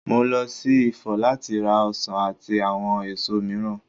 Mo lọ sí Ifọ̀ láti ra ọsàn àti àwọn èso mìíràn.